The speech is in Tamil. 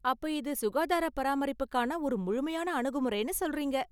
அப்ப இது சுகாதாரப் பராமரிப்புக்கான ஒரு முழுமையான அணுகுமுறைன்னு சொல்றீங்க.